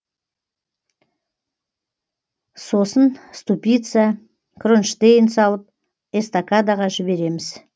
сосын ступица кронштейн салып эстакадаға жібереміз